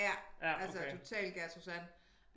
Ja altså totalt Gertrud Sand